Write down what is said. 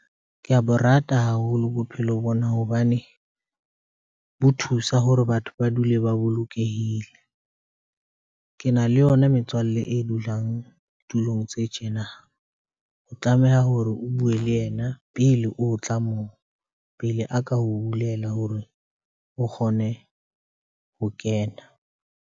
Ke a bo rata haholo bophelo bona hobane bo thusa hore batho ba dule ba bolokehile. Ke na le yona metswalle e dulang tulong tse tjena. O tlameha hore o bue le yena pele o tla moo, pele a ka o bulela hore o kgone ho kena.